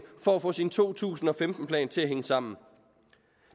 for at få sin to tusind og femten plan til at hænge sammen